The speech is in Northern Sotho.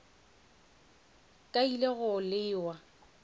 ka a ile go lewa